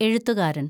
എഴുത്തുകാരന്‍